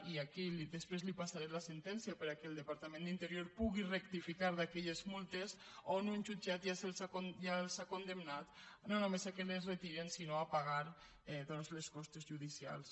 i aquí desprès li passaré la sentència perquè el departament d’interior pugui rectificar aquelles multes on un jutjat ja els ha condemnat no només que les retirin sinó a pagar doncs les costes judicials